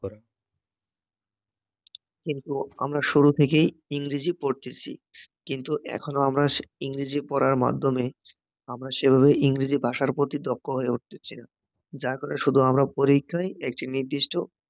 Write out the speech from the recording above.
কিন্ত আমরা শুরু থেকেই ইংরেজি পড়তেছি, কিন্তু এখনও আমরা ইংরেজি পড়ার মাধ্যমে, আমরা সেভাবে ইংরেজি ভাষার প্রতি দক্ষ হয়ে ওঠতেছি না যার কারণে আমরা পরীক্ষার একটি নির্দিষ্ট